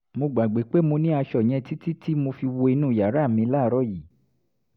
mo gbàgbé pé mo ní aṣọ yẹn títí tí mo fi wo inú yàrá mi láàárọ̀ yìí